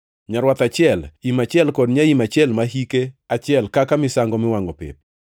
nyarwath achiel, im achiel kod nyaim achiel ma hike achiel kaka misango miwangʼo pep;